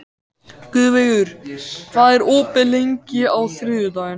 Guðveigur, hvað er opið lengi á þriðjudaginn?